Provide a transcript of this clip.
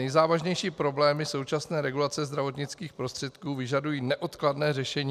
Nejzávažnější problémy současné regulace zdravotnických prostředků vyžadují neodkladné řešení.